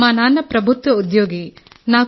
మా నాన్న ప్రభుత్వ ఉద్యోగి సార్